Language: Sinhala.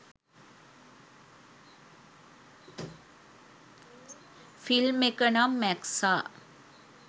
ෆිල්ම් එක නම් මැක්සා.